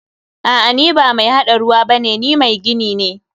A'a, ni ba mai haɗa ruwa bane, ni mai gini ne.